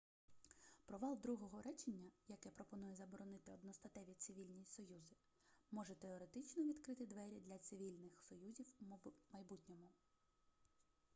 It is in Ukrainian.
провал другого речення яке пропонує заборонити одностатеві цивільні союзи може теоретично відкрити двері для цивільних союзів у майбутньому